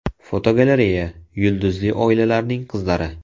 Fotogalereya: Yulduzli oilalarning qizlari.